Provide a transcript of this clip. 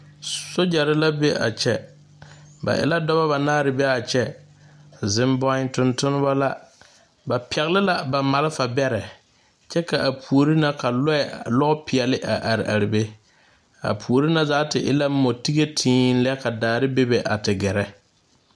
Sojare la be a kyɛ ba e la dɔba banaare a be a kyɛ ziŋ boe tontonneba la ba pɛgle la ba malfabɛrɛ kyɛ ka a puori na ka loɛ lopeɛle a are are be a puori na zaa ti e motige tēēlɛ ka daare bebe a te gɛrɛ.